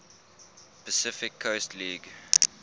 pacific coast league